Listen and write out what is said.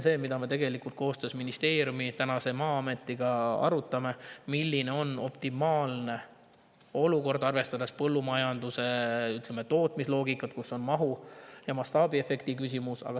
See on see, mida ministeerium ja Maa-amet koostöös arutavad: milline on optimaalne olukord, arvestades põllumajanduse tootmisloogikat, kus on mahu‑ ja mastaabiefekti küsimus?